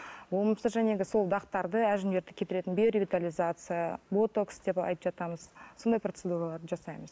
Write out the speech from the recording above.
болмаса сол дақтарды әжімдерді кетіретін биоревитализация ботокс деп айтып жатамыз сондай процедуралар жасаймыз